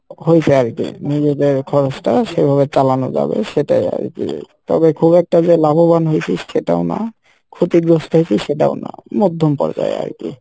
হইসে আরকি নিজেদের খরচ টা সেভাবে চালানো যাবে সেটাই আরকি তবে খুব একটা যে লাভবান হইসি সেটাও না ক্ষতিগ্রস্থ হইসি সেটাও না মধ্যম পর্যায় আরকি।